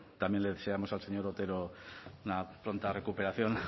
también le deseamos al señor otero una pronta recuperación